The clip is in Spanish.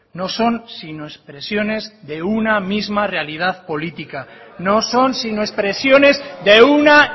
no son sino expresiones de una misma realidad política no son sino expresiones de una